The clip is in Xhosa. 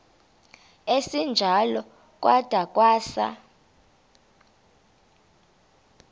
esinjalo kwada kwasa